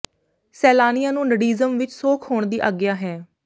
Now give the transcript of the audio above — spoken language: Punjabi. ਸੈਲਾਨੀਆਂ ਨੂੰ ਨਡਿਜ਼ਮ ਵਿਚ ਸੌਖ ਹੋਣ ਦੀ ਆਗਿਆ ਹੈ